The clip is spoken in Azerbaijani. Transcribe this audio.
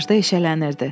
Qarajda eşələnirdi.